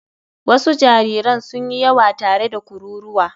Wasu jariran sun yi yawa tare da kururuwa.